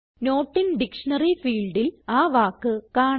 not in dictionary ഫീൽഡിൽ ആ വാക്ക് കാണാം